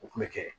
O kun bɛ kɛ